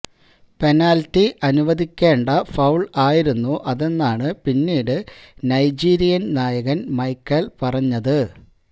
penalty അനുവദിക്കേണ്ട foul ആയിരുന്നു അതെന്നാണ് പിന്നീട് നൈജീരിയിൻ നായകൻ മൈക്കെല് പറഞ്ഞത്